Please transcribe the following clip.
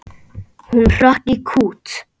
Hún hrökk í kút.